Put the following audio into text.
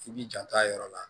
I b'i janto a yɔrɔ la